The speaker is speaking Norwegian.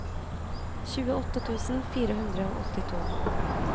tjueåtte tusen fire hundre og åttito